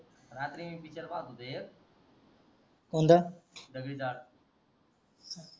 रात्री picture पाहत होतो एक दगडी चाळ